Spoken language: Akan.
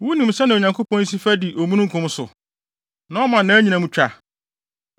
Wunim sɛnea Onyankopɔn si fa di omununkum so, na ɔma nʼanyinam twa?